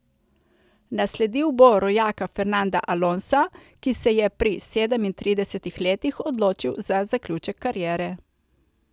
Nasledil bo rojaka Fernanda Alonsa, ki se je pri sedemintridesetih letih odločil za zaključek kariere.